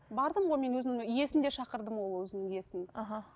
бардым ғой мен өзінің иесін де шақырдым ғой ол өзінің иесін аха